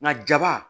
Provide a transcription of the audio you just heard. Nka jaba